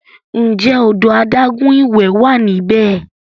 Ǹjẹ́ odò adágún ìwẹ̀ wà níbẹ̀?